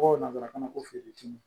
nanzarakan na ko fiyeti